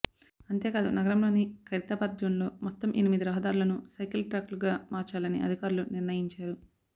అంతే కాదు నగరంలోని ఖైరతాబాద్ జోన్లో మొత్తం ఎనిమిది రహదారులను సైకిల్ ట్రాక్లుగా మార్చాలని అధికారులు నిర్ణయించారు